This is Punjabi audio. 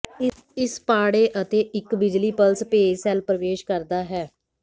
ਇਸ ਪਾੜੇ ਅਤੇ ਇੱਕ ਬਿਜਲੀ ਪਲਸ ਭੇਜ ਸੈੱਲ ਪਰਵੇਸ਼ ਕਰਦਾ ਹੈ